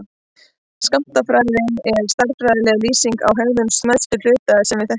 Skammtafræði er stærðfræðileg lýsing á hegðun smæstu hluta sem við þekkjum.